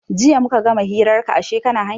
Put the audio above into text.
Jiya muka gama hirar ka ashe kana hanya.